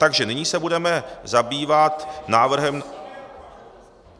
Takže nyní se budeme zabývat návrhem...